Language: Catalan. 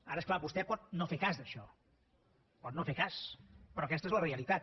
ara és clar vostè pot no fer cas d’això pot no fer ne cas però aquesta és la realitat